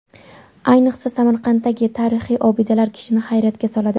Ayniqsa, Samarqanddagi tarixiy obidalar kishini hayratga soladi.